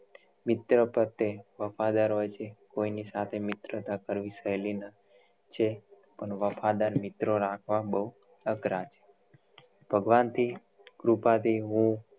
મિત્ર પર તે વફાદાર હોય છે કોઇ ની સાથે મિત્રતા કરવી સહેલી ન છે પણ વફાદાર મિત્ર રાખવા બહુ અઘરા છે ભગવાન થી કૃપા થી હું